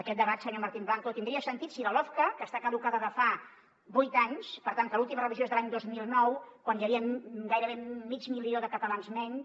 aquest debat senyor martín blanco tindria sentit si la lofca que està caducada de fa vuit anys per tant que l’última revisió és de l’any dos mil nou quan hi havia gairebé mig milió de catalans menys